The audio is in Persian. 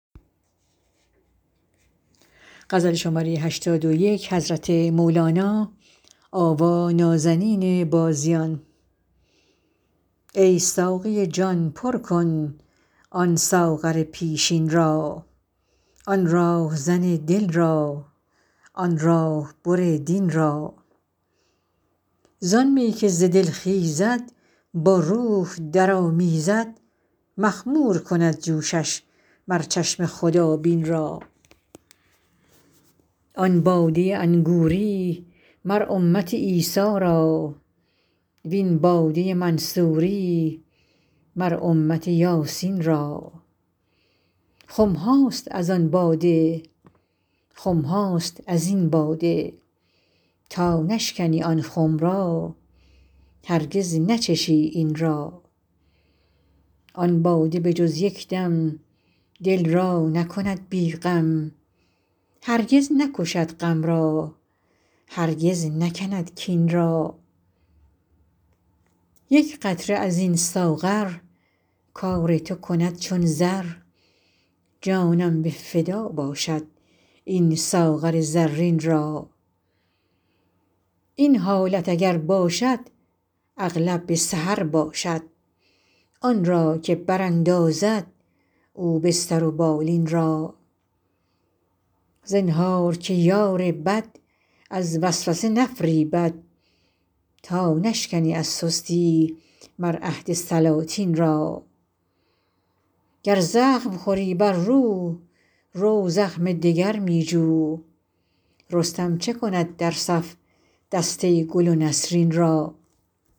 ای ساقی جان پر کن آن ساغر پیشین را آن راهزن دل را آن راه بر دین را زان می که ز دل خیزد با روح درآمیزد مخمور کند جوشش مر چشم خدابین را آن باده انگوری مر امت عیسی را و این باده منصوری مر امت یاسین را خم هاست از آن باده خم هاست از این باده تا نشکنی آن خم را هرگز نچشی این را آن باده به جز یک دم دل را نکند بی غم هرگز نکشد غم را هرگز نکند کین را یک قطره از این ساغر کار تو کند چون زر جانم به فدا باشد این ساغر زرین را این حالت اگر باشد اغلب به سحر باشد آن را که براندازد او بستر و بالین را زنهار که یار بد از وسوسه نفریبد تا نشکنی از سستی مر عهد سلاطین را گر زخم خوری بر رو رو زخم دگر می جو رستم چه کند در صف دسته گل و نسرین را